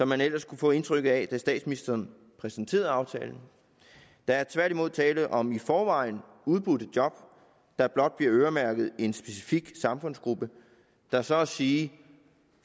man ellers kunne få indtryk af da statsministeren præsenterede aftalen der er tværtimod tale om i forvejen udbudte job der blot bliver øremærket en specifik samfundsgruppe der så at sige